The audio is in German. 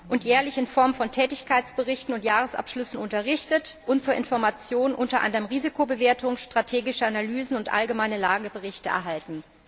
Sie werden jährlich in Form von Tätigkeitsberichten und Jahresabschlüssen unterrichtet, und sie werden zur Information unter anderem Risikobewertungen, strategische Analysen und allgemeine Lageberichte erhalten.